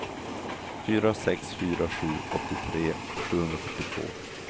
fyra sex fyra sju åttiotre sjuhundrafyrtiotvå